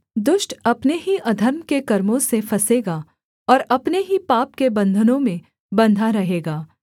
दुष्ट अपने ही अधर्म के कर्मों से फँसेगा और अपने ही पाप के बन्धनों में बन्धा रहेगा